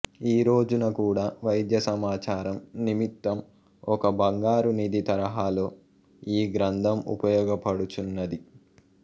ఈ రోజున కూడా వైద్య సమాచారం నిమిత్తం ఒక బంగారు నిధి తరహాలో ఈ గ్రంథం ఉపయోగపడుచున్నది